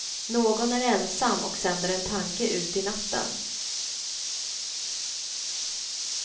Någon är ensam och sänder en tanke ut i natten.